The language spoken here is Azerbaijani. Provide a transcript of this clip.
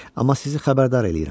Amma sizi xəbərdar eləyirəm.